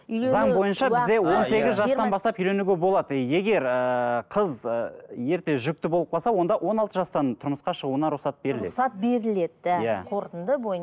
заң бойынша бізде он сегіз жастан бастап үйленуге болады егер ыыы қыз ы ерте жүкті болып қалса онда он алты жастан тұрмысқа шығуына рұқсат беріледі рұқсат беріледі да қорытынды